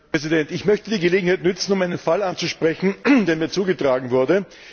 Herr Präsident! Ich möchte die Gelegenheit nutzen, um einen Fall anzusprechen, der mir zugetragen wurde.